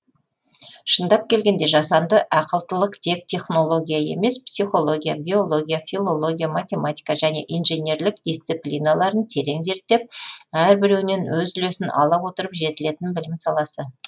шындап келгенде жасанды ақылдылық тек технология емес психология биология филология математика және инженерлік дисциплиналарын терең зерттеп әрбіреуінен өз үлесін ала отырып жетілетін білім саласы